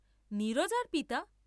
নীরজার পিতা!